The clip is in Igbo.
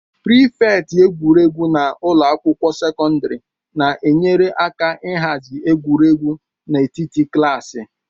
Prịfeti egwuregwu na ụlọ akwụkwọ sekọndrị na-enyere aka ịhazi egwuregwu n'etiti klaasị